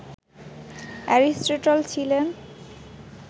Aristotle ছিলেন